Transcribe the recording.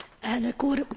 Elnök Úr!